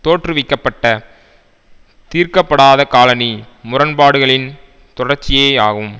தோற்றுவிக்க பட்ட தீர்க்க படாத காலணி முரண்பாடுகளின் தொடர்ச்சியேயாகும்